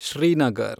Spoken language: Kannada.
ಶ್ರೀನಗರ್